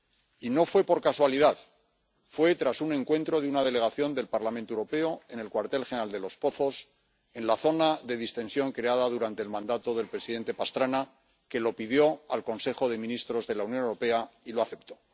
Y no fue por casualidad, fue tras un encuentro de una delegación del Parlamento Europeo en el cuartel general de Los Pozos, en la zona de distensión creada durante el mandato del presidente Pastrana, que lo pidió al Consejo de Ministros de la Unión Europea y este lo aceptó.